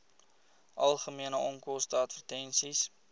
algemene onkoste advertensies